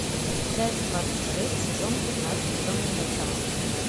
часть двадцать шесть сезон пятнадцать темные начала